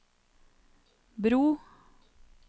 bro